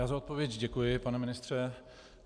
Já za odpověď děkuji, pane ministře.